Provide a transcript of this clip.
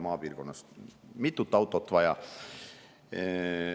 Maapiirkonnas on mitut autot vaja.